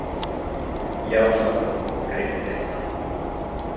Já, svaraði hún og greip í fléttuna.